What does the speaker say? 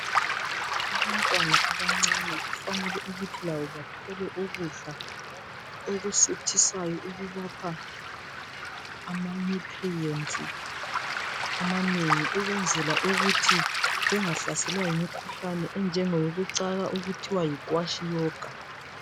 Abantwana abancane kufanele ukuthi labo bathole ukudla okusuthisayo okubapha ama nutrients amanengi ukwenzela ukuthi bengahlaselwa yimikhuhlani yokucaka okuthiwa yikwashiokor.